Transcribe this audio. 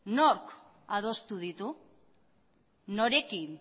nork adostu ditu norekin